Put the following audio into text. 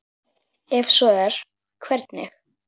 Ef svo er, hvernig?